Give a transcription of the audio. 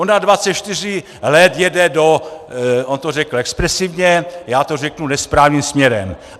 Ona 24 let jede do, on to řekl expresivně, já to řeknu nesprávným směrem.